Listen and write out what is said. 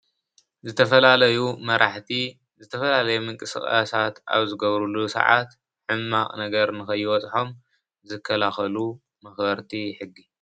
ዝተፈላለዩ መራሕቲ ዝተፈላለዩ ምንቅስቃስት አብ ዝገብሩሉ ስዓት ሕማቅ ነገር ንከይበፅሖም ዝከላከሉ መክበሪቲ ሕጊ።